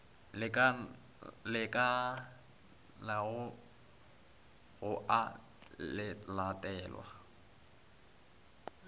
lekanelago ga go a latelwa